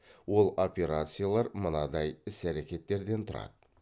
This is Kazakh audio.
ол операциялар мынадай іс әрекеттерден тұрады